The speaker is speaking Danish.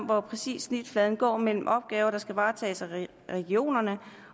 hvor præcis snitfladen går mellem opgaver der skal varetages af regionerne